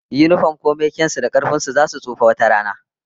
Yinifom komai kyan su da karfin su, zasu tsufa wata rana